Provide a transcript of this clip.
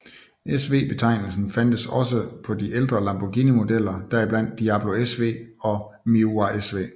SV betegnelsen fandtes også på de ældre lamborghini modeller deriblandt Diablo SV og Miura SV